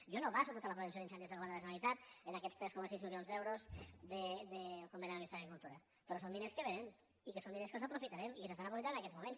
jo no baso tota la prevenció d’incendis del govern de la generalitat en aquests tres coma sis milions d’euros del conveni amb el ministeri d’agricultura però són diners que vénen i són diners que els aprofitarem i que s’estan aprofitant en aquests moments